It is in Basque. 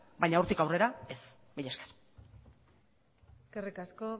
baina hortik aurrera ez mila esker eskerrik asko